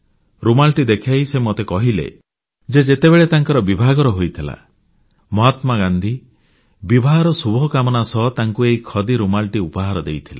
ରୁମାଲଟି ଦେଖାଇ ସେ ମୋତେ କହିଲେ ଯେ ଯେତେବେଳେ ତାଙ୍କର ବିଭାଘର ହୋଇଥିଲା ମହାତ୍ମାଗାନ୍ଧୀ ବିବାହର ଶୁଭ କାମନା ସହ ତାଙ୍କୁ ଏହି ଖଦି ରୁମାଲଟି ଉପହାର ଦେଇଥିଲେ